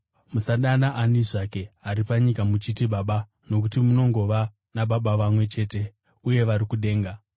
Musadana ani zvake ari panyika muchiti, ‘Baba’ nokuti munongova naBaba vamwe chete uye vari kudenga.